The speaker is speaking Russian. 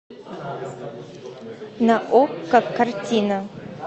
на окко картина